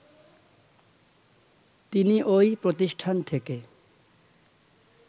তিনি ওই প্রতিষ্ঠান থেকে